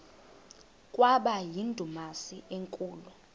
kwaba yindumasi enkulu